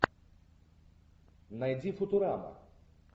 найди футурама